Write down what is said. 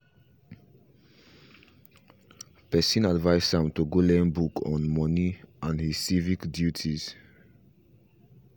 person advice am to go learn book on money and his civic duties